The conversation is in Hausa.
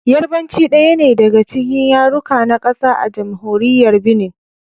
Yarbanci daya ne daga cikin yaruka na kasa a Jamhuriyar Binin.